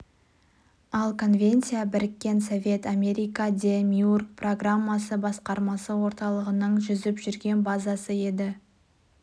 ал конвенция біріккен совет-американ де-миург программасы басқармасы орталығының жүзіп жүрген базасы еді